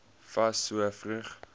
fas so vroeg